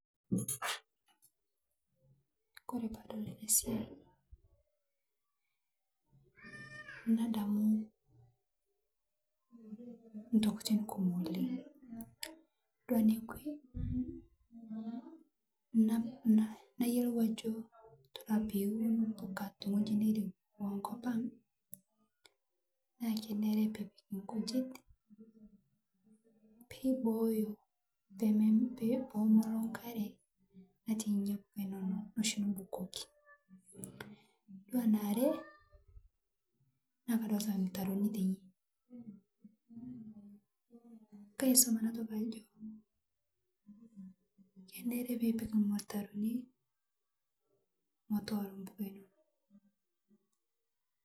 Kore paadol ale siai, nadamu, ntokitin kumo oleng', dol nekwe, na na nayelou ajo todua piun mbuka teng'oji nerewa nkopang', naa kenere piipik nkujit, peeboyo peme pe pemolo nkare natii nyia mbuka inono noshi nibukoki. Yuolo ana are, naa kadolita mtaroni teine. Kaisom ana toki ajo, kenere piipik lmtaroni motooro peneu.